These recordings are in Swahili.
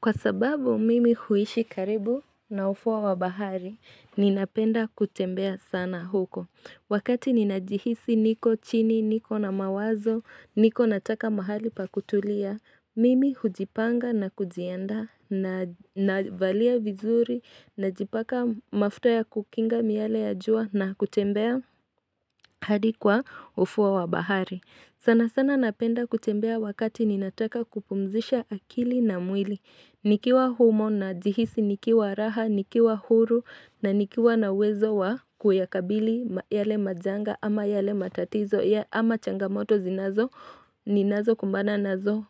Kwa sababu mimi huishi karibu na ufuo wa bahari, ninapenda kutembea sana huko. Wakati ninajihisi niko chini, niko na mawazo, niko nataka mahali pa kutulia, mimi hujipanga na kujienda navalia vizuri najipaka mafuta ya kukinga miale ya jua na kutembea hadi kwa ufuo wa bahari. Sana sana napenda kutembea wakati ninataka kupumzisha akili na mwili. Nikiwa humo na jihisi nikiwa raha, nikiwa huru na nikiwa na uwezo wa kuyakabili yale majanga ama yale matatizo ama changamoto zinazo ninazo kumbana nazo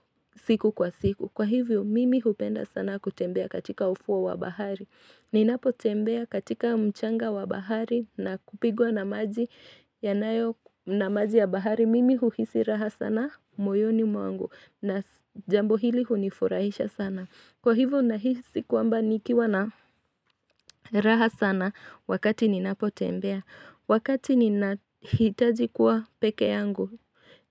siku kwa siku. Kwa hivyo mimi hupenda sana kutembea katika ufuo wa bahari Ninapo tembea katika mchanga wa bahari na kupigwa na maji yanayo na maji ya bahari Mimi huhisi raha sana moyoni mwangu na jambo hili hunifurahisha sana Kwa hivyo nahisi kuamba nikiwa na raha sana wakati ninapo tembea Wakati ninahitaji kuwa peke yangu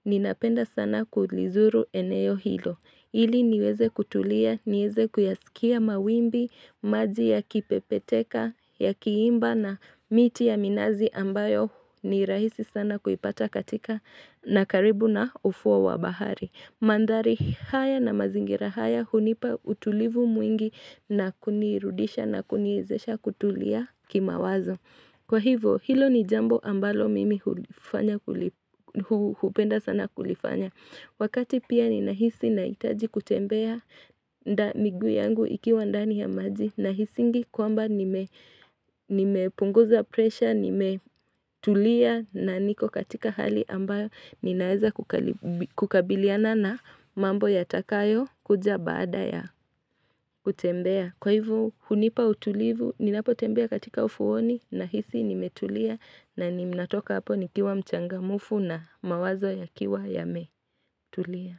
ninapenda sana kulizuru eneo hilo Hili niweze kutulia, nieze kuyasikia mawimbi, maji ya kipepeteka, yakiimba na miti ya minazi ambayo ni rahisi sana kuipata katika na karibu na ufuo wa bahari. Mandhari haya na mazingira haya hunipa utulivu mwingi na kunirudisha na kuniezesha kutulia kimawazo. Kwa hivo, hilo ni jambo ambalo mimi hupenda sana kulifanya. Wakati pia ninahisi nahitaji kutembea miguu yangu ikiwa ndani ya maji. Nahisingi kwamba nimepunguza pressure, nimetulia na niko katika hali ambayo ninaeza kukabiliana na mambo yatakayo kuja baada ya kutembea. Kwa hivo hunipa utulivu, ninapotembea katika ufuoni nahisi nimetulia na ninatoka hapo nikiwa mchangamfu na mawazo yakiwa yametulia.